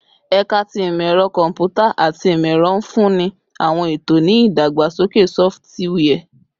Ẹka ti Imọ-ẹrọ Kọmputa ati Imọ-ẹrọ nfunni awọn eto ni idagbasoke sọfitiwia